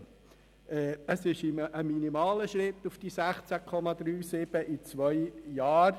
Die Reduktion auf 16,37 Prozent innerhalb von zwei Jahren bedeutet einen minimalen Schritt.